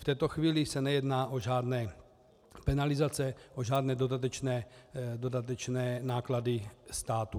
V této chvíli se nejedná o žádné penalizace, o žádné dodatečné náklady státu.